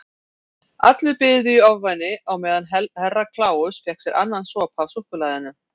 Allir biðu í ofvæni á meðan Herra Kláus fékk sér annan sopa af súkkulaðinu.